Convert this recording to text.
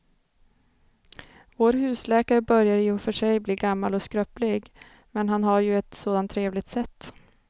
Vår husläkare börjar i och för sig bli gammal och skröplig, men han har ju ett sådant trevligt sätt!